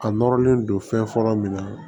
A nɔrɔlen don fɛn fɔlɔ min na